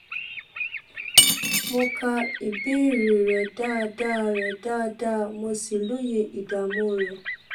mo ka ìbéèrè rẹ dáadáa rẹ dáadáa mo sì lóye ìdààmú rẹ